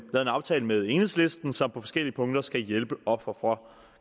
aftale med enhedslisten som på forskellige punkter skal hjælpe ofre for